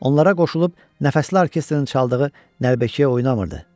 Onlara qoşulub nəfəsli orkestrin çaldığı nəlbəkiyə oynamırdı.